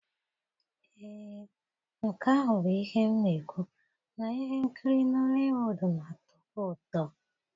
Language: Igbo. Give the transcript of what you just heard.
Ee, nke ahụ bụ ihe m na-ekwu, na ihe nkiri Nọliwuud na-atọbu ụtọ.